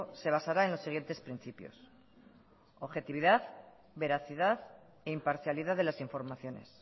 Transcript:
se basará en los siguientes principios objetividad veracidad e imparcialidad de las informaciones